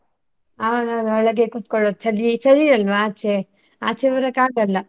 ಹೌದೌದು ಒಳಗೆ ಕುತ್ಕೊಳ್ಳುವುದು ಚಳಿ ಚಳಿ ಅಲ್ವಾ ಆಚೆ, ಆಚೆ ಬರಕ್ಕೆ ಆಗಲ್ಲ.